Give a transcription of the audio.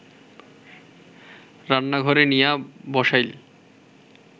রান্নাঘরে নিয়া বসাইল